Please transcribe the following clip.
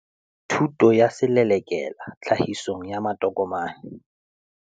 Thuto ya Selelekela Tlahisong ya Matokomane.